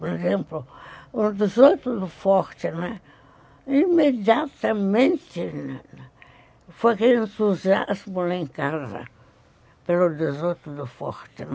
Por exemplo, o dezoito do Forte, imediatamente, foi aquele entusiasmo lá em casa pelo dezoito do Forte, né.